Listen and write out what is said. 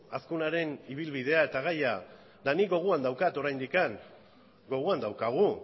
azkunaren ibilbidea eta gaia eta nik gogoan daukat oraindik gogoan daukagu